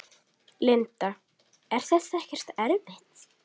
Linda: Er þetta ekkert erfitt?